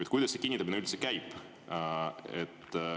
Ja kuidas see kinnitamine üldse käib?